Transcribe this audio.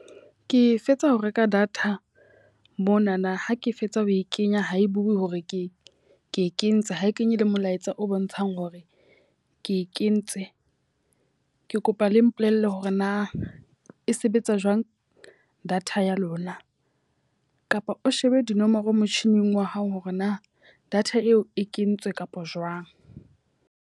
Ke fetsa ho reka data monana. Ha ke fetsa ho e kenya, ha e bue hore ke ke e kentse. Ha e kenye le molaetsa o bontshang hore ke e kentse. Ke kopa ba le mpolelle hore na e sebetsa jwang data ya lona. Kapa o shebe dinomoro motjhining wa hao hore na data eo e kentswe kapa jwang.